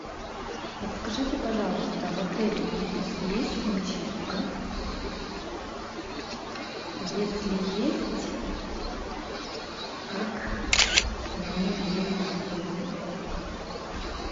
подскажите пожалуйста в отеле ибис есть химчистка если есть как мне ей воспользоваться